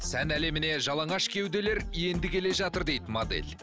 сән әлеміне жалаңаш кеуделер енді келе жатыр дейді модель